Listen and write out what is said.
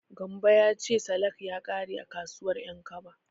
Gambo ya ce salak ya ƙare a kasuwar Ƴankaba.